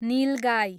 निल गाई